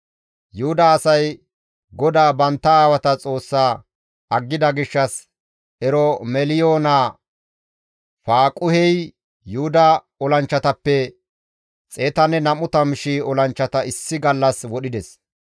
Yuhuda asay GODAA bantta aawata Xoossa aggida gishshas Eromeliyo naa Faaquhey Yuhuda olanchchatappe 120,000 olanchchata issi gallas wodhides.